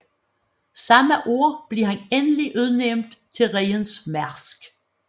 Samme år blev han endelig udnævnt til Rigens Marsk